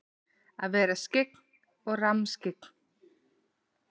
Að vera skyggn og rammskyggn?